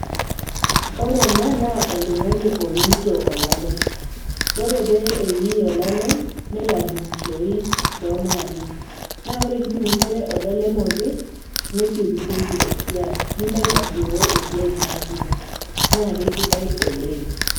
Ore ena naa oltung'ani ooito olalem, ore pee eiii elalem nelo adung'ishoi too inaapi, naa ore pee idungishore olalem opi, nesiokisioki esiai nilo aitasioyo esiai niasita, naa keaisidai oleng'.